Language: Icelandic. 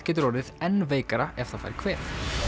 getur orðið enn veikara ef það fær kvef